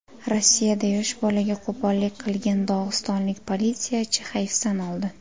Rossiyada yosh bolaga qo‘pollik qilgan dog‘istonlik politsiyachi hayfsan oldi.